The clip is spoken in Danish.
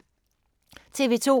TV 2